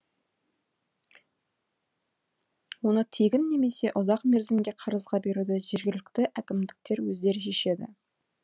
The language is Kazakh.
оны тегін немесе ұзақ мерзімге қарызға беруді жергілікті әкімдіктер өздері шешеді